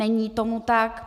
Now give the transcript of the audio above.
Není tomu tak.